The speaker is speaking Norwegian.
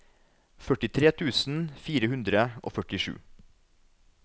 førtitre tusen fire hundre og førtisju